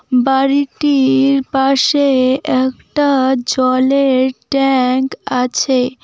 বাড়িটির পাশে একটা জলের ট্যাংক আছে।